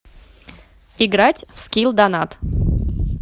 играть в скилл донат